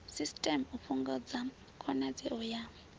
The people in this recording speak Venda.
system u fhungudza khonadzeo ya